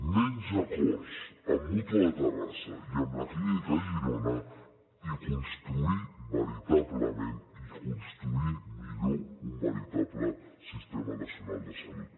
menys acords amb mútua de terrassa i amb la clínica girona i construir veritablement i construir millor un veritable sistema nacional de salut